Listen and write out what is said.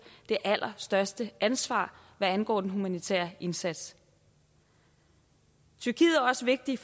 det allerstørste ansvar hvad angår den humanitære indsats tyrkiet er også vigtig